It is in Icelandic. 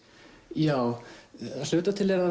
já að hluta til er það